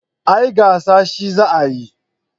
A'a gasa shi za a yi